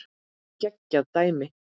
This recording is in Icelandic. Geggjað dæmi.